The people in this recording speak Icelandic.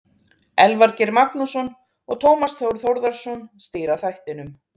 Elvar Geir Magnússon og Tómas Þór Þórðarson stýra þættinum.